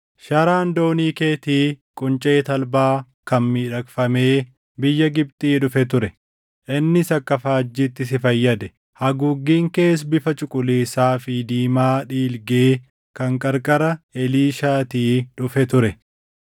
Sharaan doonii keetii quncee talbaa kan miidhagfamee biyya Gibxii dhufe ture; innis akka faajjiitti si fayyade; haguuggiin kees bifa cuquliisaa fi diimaa dhiilgee kan qarqara Eliishaatii dhufe ture.